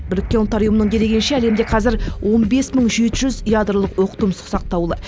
біріккен ұлттар ұйымының дерегенше әлемде қазір он бес мың жеті жүз ядролық оқтұмсық сақтаулы